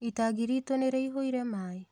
Itangi ritũ nĩrĩiyũire maĩ?